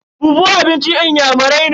fufu abincin inyamurai ne.